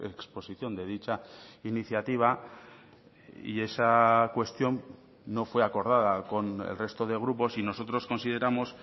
exposición de dicha iniciativa y esa cuestión no fue acordada con el resto de grupos y nosotros consideramos